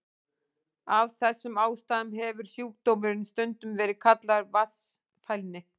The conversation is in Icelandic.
Af þessum ástæðum hefur sjúkdómurinn stundum verið kallaður vatnsfælni.